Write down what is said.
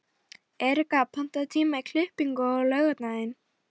Erika, pantaðu tíma í klippingu á laugardaginn.